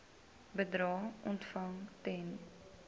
bedrae ontvang ten